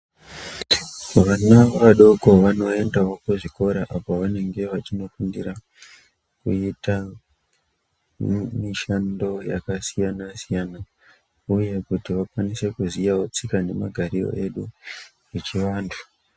Vana vadoko vanoendawo kuzvikora apo pavanenge veienda kundofundira kuita mishando yakasiyana siyana . Uye kuti akwanise kuziyawo tsika nemagariro edu echivantu.